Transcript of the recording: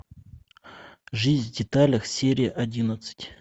жизнь в деталях серия одиннадцать